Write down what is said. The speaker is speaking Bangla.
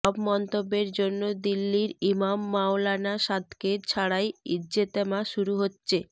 সব মন্তব্যের জন্য দিল্লির ইমাম মাওলানা সাদকে ছাড়াই ইজতেমা শুরু হচ্ছে